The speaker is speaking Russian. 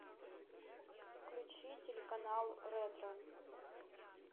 включи телеканал ретро